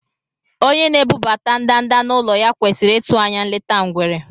Onye na-ebubata ndanda n’ụlọ ya kwesịrị ịtụ anya nleta ngwere.